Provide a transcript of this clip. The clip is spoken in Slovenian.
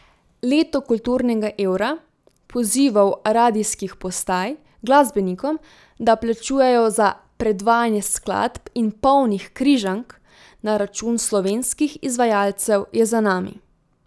Leto kulturnega evra, pozivov radijskih postaj glasbenikom, da plačujejo za predvajanje skladb in polnih Križank na račun slovenskih izvajalcev je za nami.